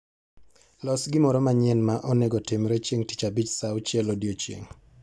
Los gimoro manyien ma onego otimre chieng' tich abich saa auchiel odiechieng'